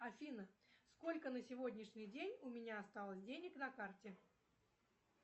афина сколько на сегодняшний день у меня осталось денег на карте